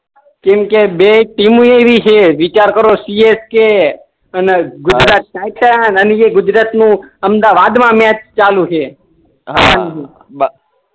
કેમ કે બે ટીમો એવી છે વિચાર કરો સીએસકે અને ગુજરાત ટાઇટન્સ અને કે ગુજરાત નું અમદાવાદ મા મેચ ચાલુ છે હા